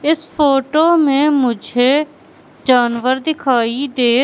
इस फोटो में मुझे जानवर दिखाई दे--